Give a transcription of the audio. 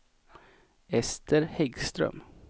Ester Häggström